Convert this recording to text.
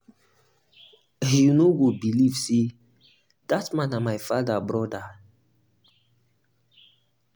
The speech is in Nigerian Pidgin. you know go believe say dat man na my father broda